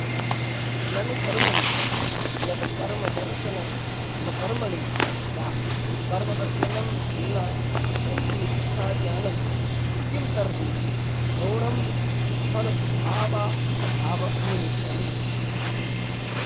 ननुकर्मणि यदकर्मदर्शनमकर्मणि वा कर्मदर्शनं न तन्मिथ्याज्ञानं किं तर्हि गौणं फलभावाभावनिमित्तम्